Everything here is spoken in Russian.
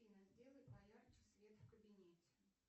афина сделай поярче свет в кабинете